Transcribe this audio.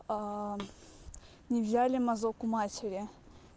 не взяли мазок у матери